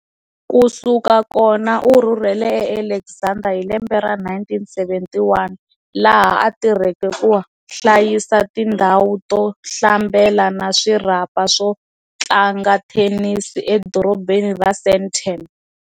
Kusika kona u rhurhele e Alexandra hi lembe ra 1971, laha a tirheke ku hlayisa tindzhawu to hlambela na swirhapa swo tlanga thenisi, e dorobheni ra Sandton.